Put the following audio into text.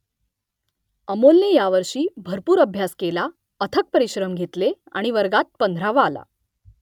अमोलने यावर्षी भरपूर अभ्यास केला अथक परिश्रम घेतले आणि वर्गात पंधरावा आला